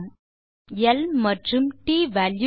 முதலில் நாம் ல் மற்றும் ட் வால்யூ க்களை இனிஷியேட் செய்வோம்